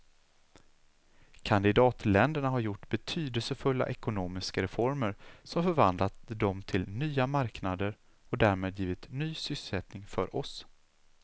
Kandidatländerna har gjort betydelsefulla ekonomiska reformer som förvandlat dem till nya marknader och därmed givit ny sysselsättning för oss.